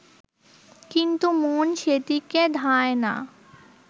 কিন্তু মন সেদিকে ধায় না